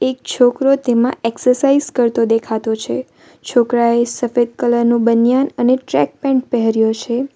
છોકરો તેમાં એક્સરસાઇઝ કરતો દેખાતો છે છોકરાએ સફેદ કલર નું બનિયાન અને ટ્રેક પેન્ટ પહેર્યો છે.